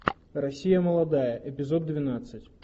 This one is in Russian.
россия молодая эпизод двенадцать